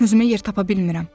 Özümə yer tapa bilmirəm.